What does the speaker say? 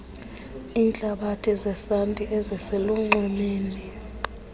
iintlabathi zesanti eziselunxwemeni